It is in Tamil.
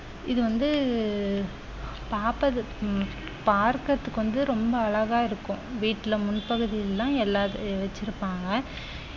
இது வந்து பாபதுக்~ உம் பார்க்குறதுக்கு வந்து ரொம்ப அழகா இருக்கும் வீட்டுல முன்பகுதியில எல்லா வச்சிருப்பாங்க